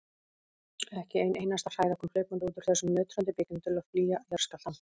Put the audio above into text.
Ekki ein einasta hræða kom hlaupandi út úr þessum nötrandi byggingum til að flýja jarðskjálftann.